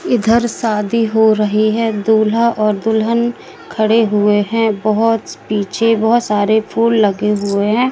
इधर शादी हो रही है दूल्हा और दुल्हन खड़े हुए हैं बहुत पीछे बहुत सारे फूल लगे हुए हैं।